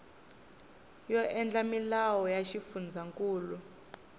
yo endla milawu ya xifundzankulu